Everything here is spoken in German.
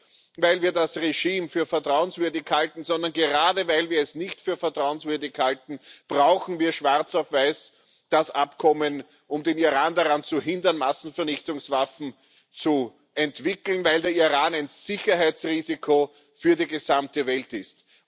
Nicht weil wir das Regime für vertrauenswürdig halten, sondern gerade weil wir es nicht für vertrauenswürdig halten, brauchen wir das Abkommen schwarz auf weiß, um den Iran daran zu hindern, Massenvernichtungswaffen zu entwickeln, weil der Iran ein Sicherheitsrisiko für die gesamte Welt